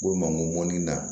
U mago ŋɔni na